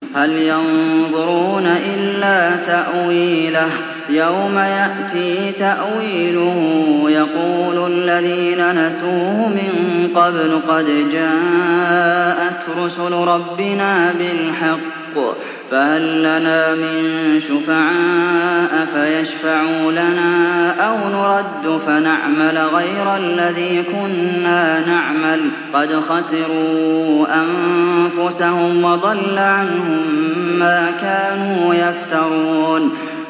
هَلْ يَنظُرُونَ إِلَّا تَأْوِيلَهُ ۚ يَوْمَ يَأْتِي تَأْوِيلُهُ يَقُولُ الَّذِينَ نَسُوهُ مِن قَبْلُ قَدْ جَاءَتْ رُسُلُ رَبِّنَا بِالْحَقِّ فَهَل لَّنَا مِن شُفَعَاءَ فَيَشْفَعُوا لَنَا أَوْ نُرَدُّ فَنَعْمَلَ غَيْرَ الَّذِي كُنَّا نَعْمَلُ ۚ قَدْ خَسِرُوا أَنفُسَهُمْ وَضَلَّ عَنْهُم مَّا كَانُوا يَفْتَرُونَ